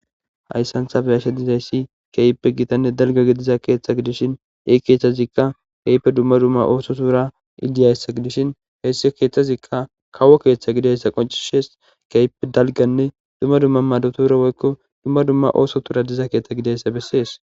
Hayssantha beyashe dizayssi keyppe gitanne dalgagi diza keeththa gidishin ei keeththazikka keype dumma dumma ooso tuura idiyayssa gidishin heyssi keeththazikka kawo keeththa gidayssa qoncishees keype dalganne dumma dumma mado tura woykko dumma dumma ooso tuura diza keeththa gidayssa bessees.